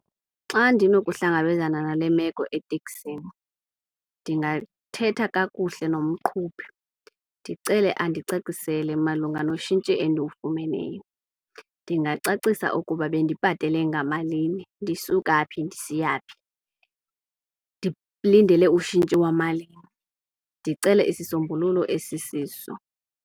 Xa ndinokuhlangabezana nale meko eteksini ndingathetha kakuhle nomqhubi, ndicele andicacisele malunga noshintshi endiwufumeneyo. Ndingacacisa ukuba bendibhatale ngamalini, ndisuka phi, ndisiya phi, ndilindele ushintshi wamalini. Ndicele isisombululo esisiso.